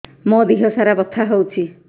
ମୋ ଦିହସାରା ବଥା ହଉଚି